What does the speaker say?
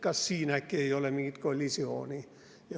Kas siin äkki ei ole mingit kollisiooni?